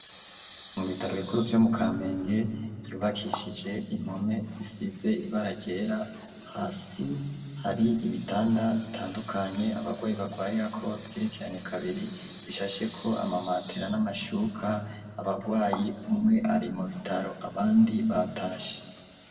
Mu bitaro bikuru vyo mu Kamenge vyubakishije impome zisize ibara ryera, hasi hari ibitanda bitandukanye abarwayi barwirirako bigerekeranye kabiri bishasheko ama matera n'amashuka, abarwayi umwe ari mu bitaro abandi batashe.